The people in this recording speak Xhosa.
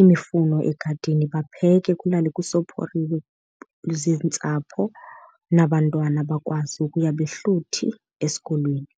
imifuno egadini bapheke kulalwe kusophoriwe ziintsapho nabantwana bakwazi ukuya behluthi esikolweni.